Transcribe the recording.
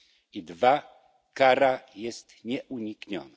I dwa kara jest nieunikniona.